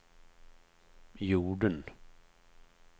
jorden